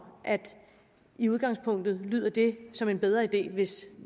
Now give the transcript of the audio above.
i udgangspunktet lyder det som en bedre idé hvis